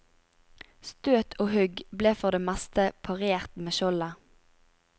Støt og hugg ble for det meste parert med skjoldet.